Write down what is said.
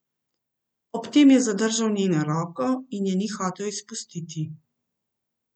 Ob tem je zadržal njeno roko in je ni hotel izpustiti.